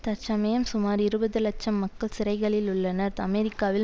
தற்சமயம் சுமார் இருபது இலட்சம் மக்கள் சிறைகளில் உள்ளனர் அமெரிக்காவில்